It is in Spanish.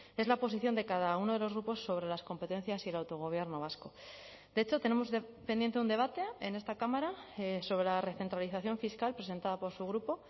es la posición de cada uno de los grupos sobre las competencias y el autogobierno vasco de hecho tenemos pendiente un debate en esta cámara sobre la recentralización fiscal presentada por su grupo